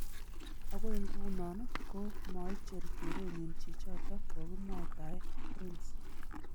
Agoi nguno ko maicher kerenyi chichoto kokimwaitae, Prince.